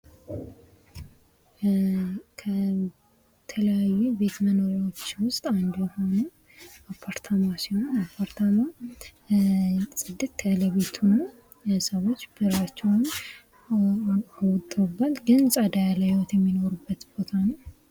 ከተለያዩ የቤት መኖርያዎች ውስጥ አንድ የሆነው አፓርታማ ሲሆን አፓርታማ ጽድት ያለ ቤት ሆኖ ሰዎች በራቸውን አውጥተው ፅድት ያለ ህይወት የሚኖሩበት ቤት።